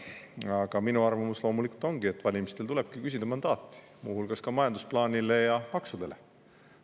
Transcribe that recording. Aga minu arvamus loomulikult ongi, et valimistel tulebki küsida mandaati, muu hulgas ka majandusplaanile ja maksudele.